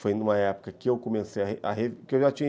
Foi numa época que eu comecei, que eu já tin